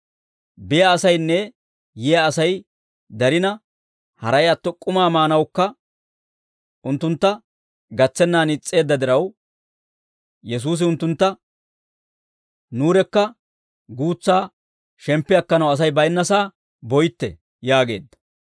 Biyaa asaynne yiyaa Asay darina, haray atto k'umaa maanawukka unttuntta gatsennaan is's'eedda diraw, Yesuusi unttuntta, «Nuurekka guutsaa shemppi akkanaw Asay baynnasaa boytte» yaageedda.